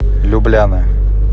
любляна